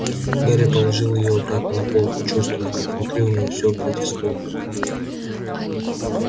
гарри положил её обратно на полку чувствуя как внутри у него всё протестует